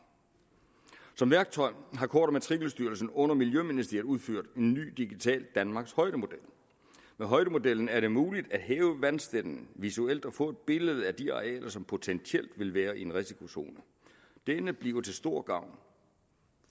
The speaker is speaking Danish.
som værktøj har kort og matrikelstyrelsen under miljøministeriet udført en ny digital danmarkshøjdemodel med højdemodellen er det muligt at hæve vandstanden visuelt og få et billede af de arealer som potentielt vil være i en risikozone denne bliver til stor gavn